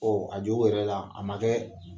a jo b'o yɛrɛ la a ma kɛ